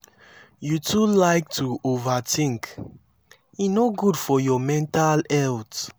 you too like to overthink e no good for your mental health